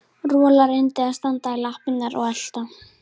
Rola reyndi að standa í lappirnar og elta